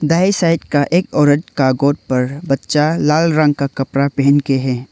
दाएं साइड का एक औरत के गोद पर बच्चा लाल रंग का कपड़ा पहन के है।